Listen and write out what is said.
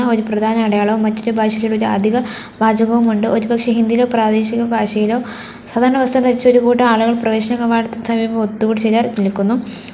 ഒരു പ്രധാന അടയാളവും മറ്റൊരു ഭാഷയിൽ ഒരു അധിക വാചകവുമുണ്ട് ഒരുപക്ഷേ ഹിന്ദിയിലോ പ്രാദേശിക ഭാഷയിലോ സാധാരണ വസ്ത്രം ധരിച്ച ഒരു കൂട്ടം ആളുകൾ പ്രവേശന കവാടത്തിൽ സമീപം ഒത്തുകൂടി ചിലർ നിൽക്കുന്നു.